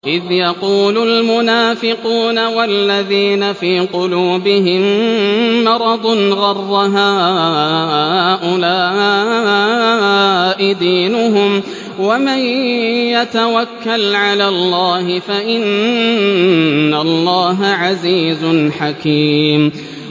إِذْ يَقُولُ الْمُنَافِقُونَ وَالَّذِينَ فِي قُلُوبِهِم مَّرَضٌ غَرَّ هَٰؤُلَاءِ دِينُهُمْ ۗ وَمَن يَتَوَكَّلْ عَلَى اللَّهِ فَإِنَّ اللَّهَ عَزِيزٌ حَكِيمٌ